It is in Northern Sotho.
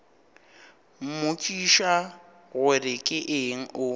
mmotšiša gore ke eng o